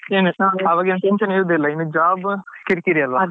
College life ಎಲ್ಲ ತುಂಬಾ ಗಮ್ಮತ್ ಏನ್ ಆವಾಗ ಏನು tension ಇರುದಿಲ್ಲ ಈಗ job ಎಲ್ಲ ಕಿರಿಕಿರಿ ಅಲ್ವಾ.